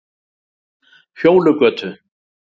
Fjólugötu